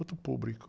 Outro público.